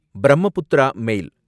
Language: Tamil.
பிரம்மபுத்ரா மேல்